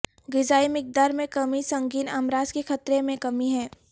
غذائی مقدار میں کمی سنگین امراض کے خطرے میں کمی ہے